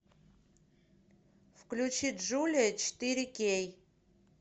включи джулия четыре кей